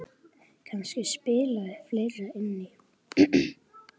Kannski spilaði fleira inn í.